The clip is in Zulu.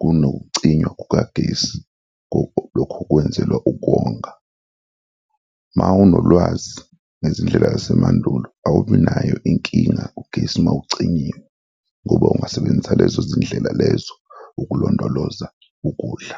kunokucinywa kukagesi, lokhu kwenzelwa ukonga. Ma unolwazi ngezindlela zasemandulo awubi nayo inkinga ugesi mawucinyiwe ngoba ungasebenzisa lezo zindlela lezo ukulondoloza ukudla.